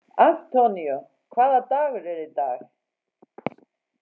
Antonio, hvaða dagur er í dag?